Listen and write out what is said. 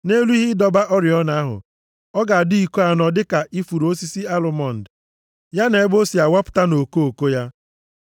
Nʼelu ihe ịdọba oriọna ahụ, ọ ga-adị iko anọ dịka ifuru osisi alụmọnd, ya na ebe o si awapụta na okoko ya.